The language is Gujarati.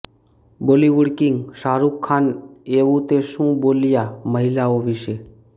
બોલિવૂડ કિંગ શાહરુખ ખાન એવું તે શું બોલિયાં મહિલાઑ વિશે